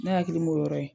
Ne hakili m'o yɔrɔ ye